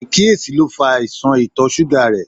Aikiyesi lo fa aisan ìtọ̀ suga rẹ